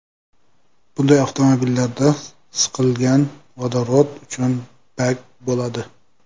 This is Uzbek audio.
Bunday avtomobillarda siqilgan vodorod uchun bak bo‘ladi.